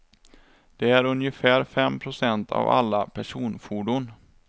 Det är ungefär fem procent av alla personfordon.